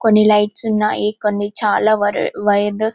కొన్ని లైట్స్ ఉన్నాయి కొన్ని చానా వైర్ వైయర్ లు --